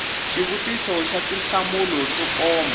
xivutiso xa tinhlamulo to koma